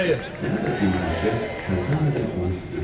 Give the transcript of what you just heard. Nənə də dinməzcə tərpənmədən onu süzürdü.